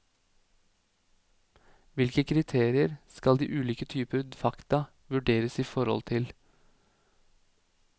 Hvilke kriterier skal de ulike typer fakta vurderes i forhold til.